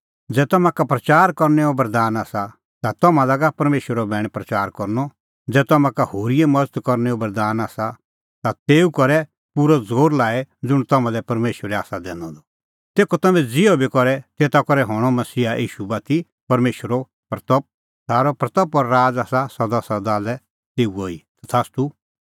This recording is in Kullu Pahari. ज़ै तम्हां का प्रच़ार करनैओ बरदान आसा ता तम्हां लागा परमेशरो बैण प्रच़ार करनअ ज़ै तम्हां का होरीए मज़त करनैओ बरदान आसा ता तेऊ करै पूरअ ज़ोर लाई ज़ुंण तम्हां लै परमेशरै आसा दैनअ द तेखअ तम्हैं ज़िहअ बी करे तेता करै हणीं मसीहा ईशू बाती परमेशरे महिमां सारी महिमां और राज़ आसा सदासदा लै तेऊओ ई तथास्तू